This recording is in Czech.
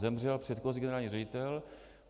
Zemřel předchozí generální ředitel.